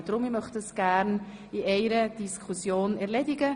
Deshalb möchte ich das gerne in einer Diskussion erledigen.